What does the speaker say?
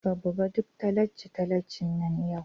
Ka buga duk tallace-tallace nan yau!